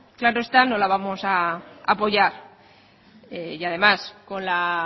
claro está no la vamos a apoyar y además con la